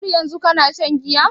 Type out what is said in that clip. Har yanzun kana shan giya?